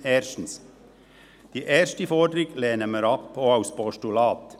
Erstens: Die erste Forderung lehnen wir ab, auch als Postulat.